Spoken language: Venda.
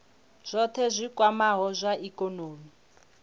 zwohe zwi kwamaho zwa ikonomi